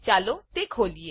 ચાલો તે ખોલીએ